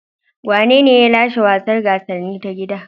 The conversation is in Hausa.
Wanene ya lashe gasar wasanni ta gida?